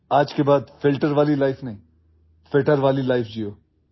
আজিৰ পৰা ফিল্টাৰ জীৱন নহয় ফিটাৰ জীৱন যাপন কৰক